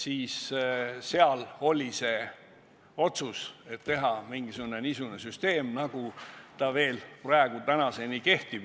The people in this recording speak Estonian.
Nii sündis meil otsus teha niisugune süsteem, nagu tänaseni kehtib.